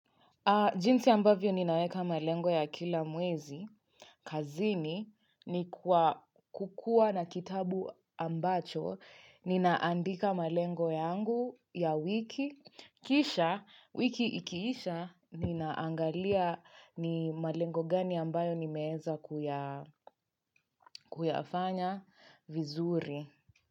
Jinsi ambavyo ninaweka malengo ya kila mwezi. Kazini ni kukua na kitabu ambacho. Ninaandika malengo yangu ya wiki. Kisha, wiki ikiisha, ninaangalia ni malengo gani ambayo nimeeza kuyafanya vizuri.